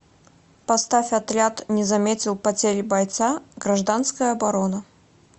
поставь отряд не заметил потери бойца гражданская оборона